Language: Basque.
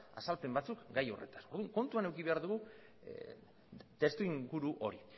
azalpen batzuk gai horretaz orduan kontuan hartu behar dugu testuinguru hori